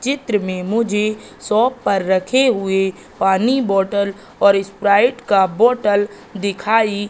चित्र में मुझे शॉप पर रखे हुए पानी बोटल और स्प्राइट का बोटल दिखाई--